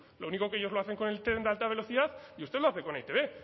lo único que ellos lo hacen con el tren de alta velocidad y usted lo hace con e i te be